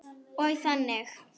Og þannig.